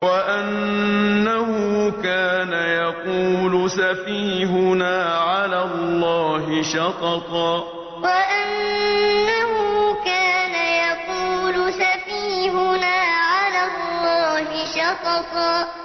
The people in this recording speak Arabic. وَأَنَّهُ كَانَ يَقُولُ سَفِيهُنَا عَلَى اللَّهِ شَطَطًا وَأَنَّهُ كَانَ يَقُولُ سَفِيهُنَا عَلَى اللَّهِ شَطَطًا